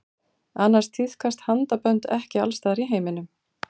Annars tíðkast handabönd ekki alls staðar í heiminum.